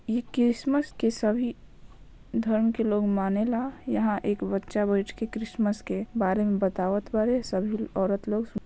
यह क्रिसमस के सभी धर्म के लोग माने ला यहाँ एक बच्चा बैठकर क्रिसमस के बारे मे बतावत बारे सभी औरत लोग --